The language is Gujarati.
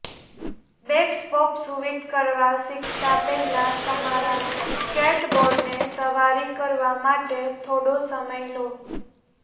બેકસ પોપ શૂવિટ કરવા શીખતા પહેલા તમારા સ્કેટબોર્ડને સવારી કરવા માટે થોડો સમય લો